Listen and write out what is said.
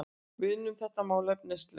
Við unnum þetta málefnalega